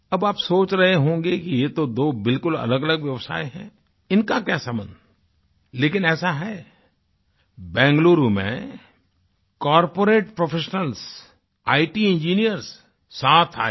अब आप सोच रहें होंगे कि यह तो दो बिल्कुल अलगअलग व्यवसाय हैं इनका क्या संबंध लेकिन ऐसा है बेंगलुरु में कॉर्पोरेट प्रोफेशनल्स इत इंजिनियर्स साथ आये